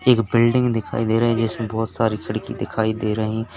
एक बिल्डिंग दिखाई दे रहीं जिसमें बहोत सारी खिड़की दिखाई दे रही।